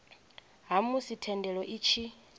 ha musi thendelo i tshi